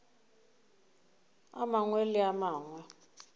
a mangwe le a mangwe